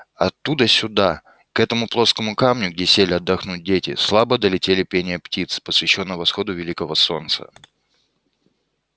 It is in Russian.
оттуда сюда к этому плоскому камню где сели отдохнуть дети слабо долетели пение птиц посвящённое восходу великого солнца